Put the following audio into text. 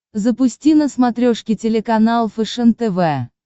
запусти на смотрешке телеканал фэшен тв